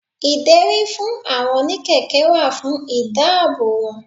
Ìdérí fún àwọn oní kẹ̀kẹ́ wà fún ìdáàbò wọn.